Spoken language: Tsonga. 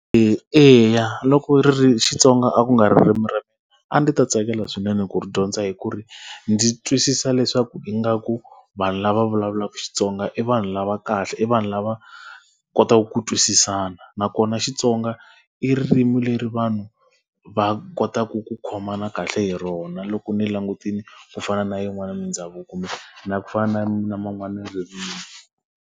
E eya loko Xitsonga a ku nga ririmi ra mina, a ndzi ta tsakela swinene ku ri dyondza hikuva, ndzi twisisa leswaku ingaku vanhu lava vulavulaka Xitsonga i vanhu lava kahle, i vanhu lava kotaku ku twisisana. Nakona Xitsonga i ririmi leri vanhu va kotaku ku khomana kahle hi rona loko ni langutile, ku fana na yin'wana mindhavuko, kumbe na ku fana na man'wana ririmi.